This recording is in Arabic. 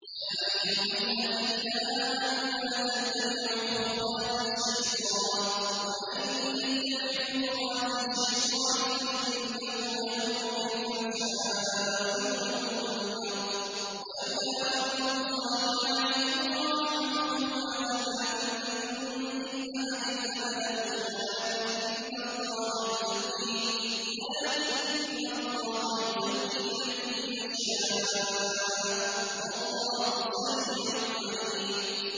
۞ يَا أَيُّهَا الَّذِينَ آمَنُوا لَا تَتَّبِعُوا خُطُوَاتِ الشَّيْطَانِ ۚ وَمَن يَتَّبِعْ خُطُوَاتِ الشَّيْطَانِ فَإِنَّهُ يَأْمُرُ بِالْفَحْشَاءِ وَالْمُنكَرِ ۚ وَلَوْلَا فَضْلُ اللَّهِ عَلَيْكُمْ وَرَحْمَتُهُ مَا زَكَىٰ مِنكُم مِّنْ أَحَدٍ أَبَدًا وَلَٰكِنَّ اللَّهَ يُزَكِّي مَن يَشَاءُ ۗ وَاللَّهُ سَمِيعٌ عَلِيمٌ